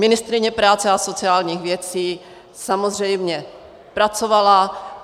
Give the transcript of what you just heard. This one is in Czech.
Ministryně práce a sociálních věcí samozřejmě pracovala.